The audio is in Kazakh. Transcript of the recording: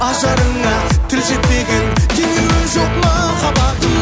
ажарыңа тіл жетпеген теңеуі жоқ махаббатым